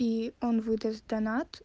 и он выдаст донат